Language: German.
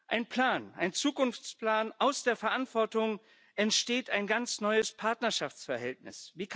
Ein Plan, ein Zukunftsplan Aus der Verantwortung entsteht ein ganz neues Partnerschaftsverhältnis.